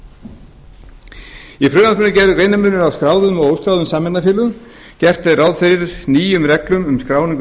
í frumvarpinu er gerður greinarmunur á skráðum og óskráðum sameignarfélögum gert er ráð fyrir nýjum reglum um skráningu